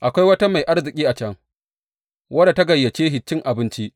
Akwai wata mai arziki a can wadda ta gayyace shi cin abinci.